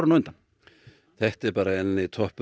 þetta er enn einn toppur